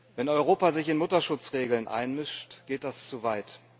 Wenn Europa sich in Mutterschutzregeln einmischt, geht das zu weit.